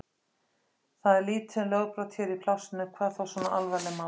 Það er lítið um lögbrot hér í plássinu, hvað þá svona alvarleg mál.